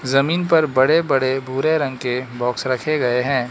जमीन पर बड़े बड़े भूरे रंग के बॉक्स रखे गए हैं।